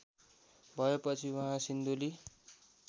भएपछि उहाँ सिन्धुली